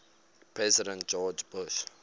president george bush